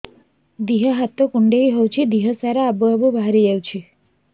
ଦିହ ହାତ କୁଣ୍ଡେଇ ହଉଛି ଦିହ ସାରା ଆବୁ ଆବୁ ବାହାରି ଯାଉଛି